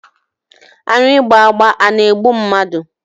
Aṅụ ịgba agba a na-egbu mmadụ?